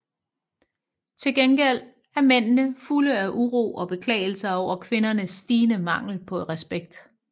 Tilgengæld er mændene fulde af uro og beklagelser over kvindernes stigende mangel på respekt